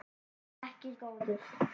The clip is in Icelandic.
Vertu ekki góður.